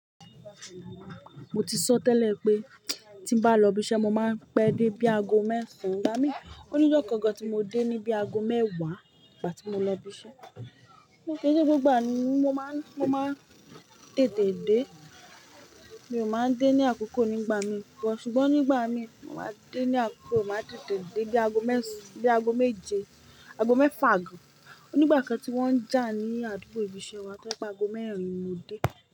Mo ti sọ tẹ́lẹ̀ pé tí bá lọ ibi iṣẹ́, mo máa ń pẹ́ dé bí aago mẹ́sàn nígbà mí. Onijo kan gan ti mo de nibi ago mewa ìgbà ti mo lo ibì iṣẹ́. Kì í ṣe gbogbo ìgbà ni mo máa ń, mo máa ń tètè dé. Mi ò máa ń dé ní àkókò nígbà mí bọ̀. Ṣùgbọ́n nígbà mí mo máa dé ní àkókò, màá tètè dé bí aago mẹ́ẹ̀sán, bí aago méje, aago mẹ́fà gan. Ó ní ìgbà kan tí wọ́n ń jà ní àdúgbò ibi iṣẹ́ wa pé aago mẹ́rin mo dé.